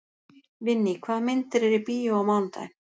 Vinný, hvaða myndir eru í bíó á mánudaginn?